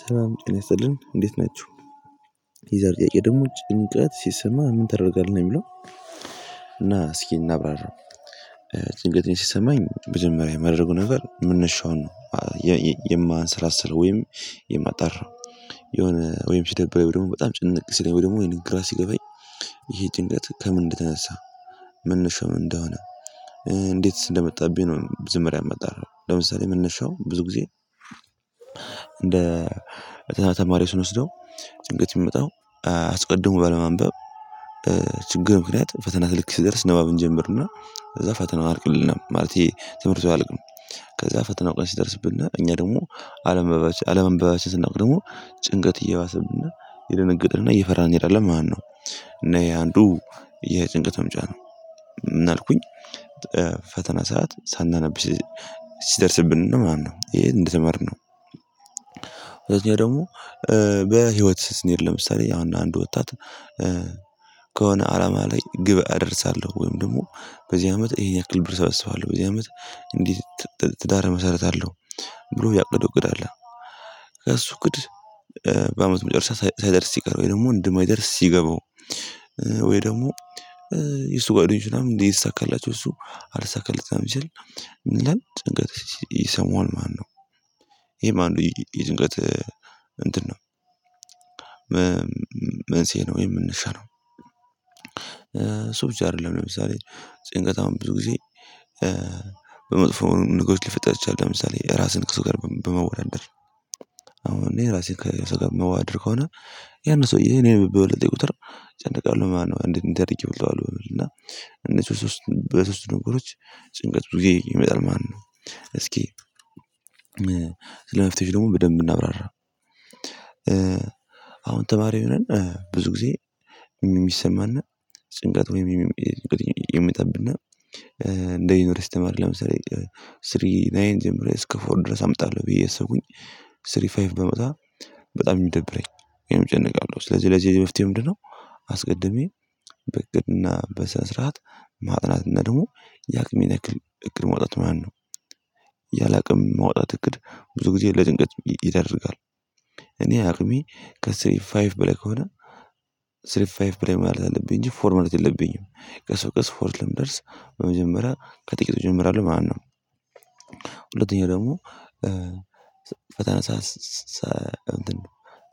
ሰላም ጤናይስጥልን እንዴት ናችሁ። የዛሪው ጥያቄ ደግሞ ጭንቀት ሲሰማህ ምን ተደርጋለህ ነው የሚለው? እና እስኪ እናብራራው። ጭንቀትን ሲሰማኝ መጀመሪያ የማደርገው ነገር መነሻውን ነው የማንሰላስለው ወይም የማጣራው። የሆነ ወይም ሲደብረኝ ደግሞ በጣም ጭንቅ ሲለኝ ወይም ደግሞ ወይም ግራ ሲገባኝ። ይሄ ጭንቀት ከምን እንደተነሳ መነሻ ምን እንደሆነ እንዴት እንደመጣብኝ ነው መጀመሪያ የማጣራ። ለምሳሌ መንነሻው ብዙ ጊዜ እንደ ፈተና ተማሪ ስንወስደው ጭንቀት የሚመጣው አስቀድሞ ባለማንበብ። ችግር ምክንያት ፈተና ልክ ሲደርስ ንባብ እንጀምርና ከዛ ፈተና አያልቅልንም ማለቴ ይሄ ትምህርቱ አያልቅም። ከዛ ፈተና ቀን ሲደርስብን እኛ ደግሞ አለማንበባችን ስናውቅ ደግሞ ጭንቀት እየባሰብን እየደነገጥን እየፈራን እንሄዳለን ማለት ነው። እና ይሄ አንዱ የጭንቀት መምጫ ነው። አልኩኝ ፈተና ሰዓት ሳናነብ ሲደርስብን ነው ማነው ይሄ እንደተማርነው። ሁለተኛ ደግሞ በህይወት ስንሄድ ለምሳሌ አሁን አንድ ወጣት ከሆነ አላማ ላይ ግብ አደርሳለሁ ወይም ደግሞ በዚህ አመት ይሄን ያክል ብር እሰበስባለሁ በዚህ አመት እንዲህ ትዳር እመሰረትአለው። ብሎ ያቀደው እቅድ አለ። ከእሱ እቅድ በአመቱ መጨረሻ ሳይደርስ ሲቀር ወይ ደግሞ እንደማይደርስ ሲገባው። ወይ ደግሞ የሱ ጓደኞች ምናምን እየተሳካላቸው እሱ አልተሳካለትም ሲል ጭንቀት ይሰማዋል ማለት ነው። ይሄ ማለት ነው ይሄ ጭንቀት እንትን ነው። መንስኤ ነው ወይም መነሻነው እሱብቻ አይደለም ለምሳሌ ጭንቀታም ብዙ ጊዜ በመጥፎ ነገሮች ሊፈጠር ይችላል። ለምሳሌ ራስህን ከሰው ጋር በማወዳደር አሁን እኔ እራሴን ከሰው ጋር እማወዳደር ከሆነ ያንን ሰውዬ እኔን በበለጠ ቁጥር እጨነቃለሁ ማለት ነው። እንዴት እድርጌ እበልጠዋለሁ በሚል እና እነሱ ሶስት በሶስት ነገሮች ጭንቀት ብዙ ጊዜ ይመጣል ማለት ነው። እስኪ ስለ መፍትሄው ደግሞ በደንብ እናብራራ። አሁን ተማሪ ሆነን ብዙ ጊዜ የሚሰማነጭንቀት ወይም ይመጣብና እንደ ዩኒቨርሲቲ ተማሪ ለምሳሌ ስሪ ናይን ጀምሮ እስከ ፎር ድረስ አምጣለሁ ብዬ አያሰቡኩኝ ስሪ ፋይፍ ባመጣ በጣም ነው የሚደብረኝ ወይም እጨነቃለሁ ስለዚህ ለዚህ መፍትሄው ምንድነው? አስቀድሜ በእቅድና በስነስርዓት ማጥራትና ደግሞ የአቅሜን ያክል ፈተና ሰዓት ሳናነብ ሲደርስብን ነው። ማለትነው ይሄ እንደተመርነው ወደዚያ በህይወት ስንሄድ ለምሳሌ ያውን አንድ ወጣት ከሆነ አላማ ላይ ግብ አደርሳለሁ ወይም ደግሞ በዚህ አመት ይሄን ያክል ብር እያሰባለሁ። በዚህ አመት እንዲህ ሁለተኛ ደግሞ ፈተና ሰዓት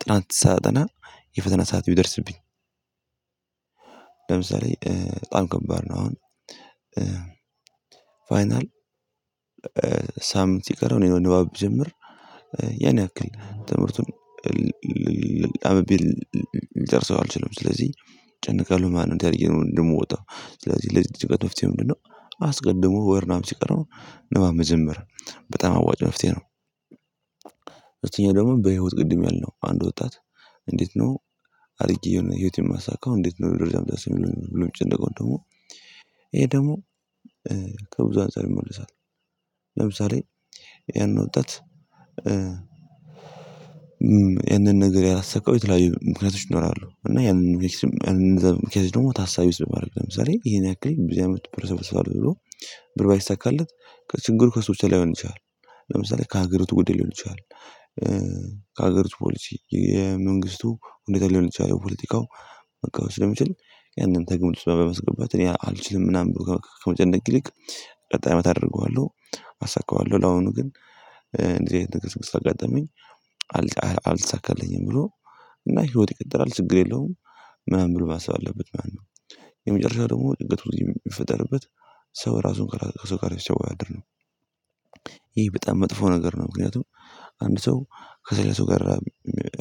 ጥናት ሳጠና የፈተና ሰዓት ቢደርስብኝ። ለምሳሌ በጣም ከባድ ነው አሁን ፋይናል ሳምንት ሲቀረው እኔ ንባብ ብጀምር ያኔ ያክል ትምህርቱን አንብቤ ልጨርሰው አልችልም ስለዚህ እጨነቃለሁ። ማለትነው ተያይዘን እንደምወጣው ስለዚህ ለዚህ ጭንቀት መፍትሄ ምንድነው? አስቀድሞ ወር ምናምን ሲቀረው ንባብ መጀመር በጣም አዋጭ መፍትሄ ነው። ሁለተኛ ደግሞ በህይወት ቅድም ያልነው አንድ ወጣት እንዴት ነው አድርጌ የሆነ ህይወት ህይወቴን ማሳካ እንዴት ነው ደረጃ የምደርሰው ብሎ የሚጨነቀው ደግሞ ይሄ ደግሞ ከብዙ አንፃር ይመለሳል። ለምሳሌ ይሄንን ወጣት ይሄንን ነገር ያላሰብከው የተለያዩ ምክንያቶች ይኖራሉ እና ይህንን ኤክስትሪም ይህንን ዘ ምክንያት ደግሞ ታሳይ ውስጥ ባደርግ ለምሳሌ ይሄን ያክል በዚህ አመት ብር ሰበስባለሁ። ብር ባይሳካለት ከችግሩ ከስውር ላይሆን ይችላል። ለምሳሌ ከሀገር ውጥ ጉዳይ ሊሆን ይችላል። ከሀገር ውስጥ ፖሊሲ የመንግስቱ ሁኔታ ሊሆን ይችላል የፖለቲካው መቃወስ ስለሚችል ያንን ከግምት ውስጥ በማስገባት አልችልም ምናምን ብዙ ከመጨነቅ ይልቅ ቀጣይ አመት አደርገዋለሁ። አሳካዋለሁ ለአሁኑ ግን እንደዚህ አይነት ነገር ስላጋጠመኝ። አልተሳካልኝም ብሎ እና ህይወት ይቀጥላል ችግር የለውም ምናምን ብሎ ማሰብ አለበት ማለት ነው። የመጨረሻው ደግሞ ጭንቀት ብዙ ጊዜ የሚፈጠርበት ሰው ራሱን ከሰው ጋር ስለሚያወዳድር ነው። ይሄ በጣም መጥፎ ነገር ነው። ምክንያቱም አንድ ሰው ከሌላ ሰው ጋር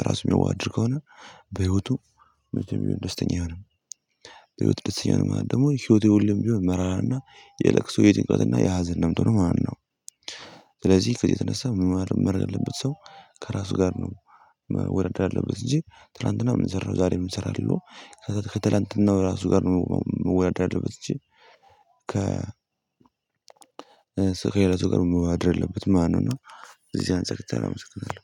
ራሱ የሚዋደድ ከሆነ በህይወቱ ደስተኛ ይሆናል ደስተኛ ይሆናል ደግሞ ህይወቱ ሁሌም ቢሆን መራራና የለቅሶ የጭንቀትና የሀዘን ነው የምትሆነው ማለትነው። ስለዚህ ከዚህ የተነሳ መረዳት ያለበት ሰው ከራሱ ጋር ነው። መወዳደር ያለበት እንጂ ትላንትና ምንሰራው ዛሬ ምንእሰራለው አለው ከትላንትናው ራሱ ጋር የምንወዳደር ያደረገበት። ከ ከሄለቱ ጋር መውረድ ያለበት ማነው እና እዚህ አንፃር ተላምተናል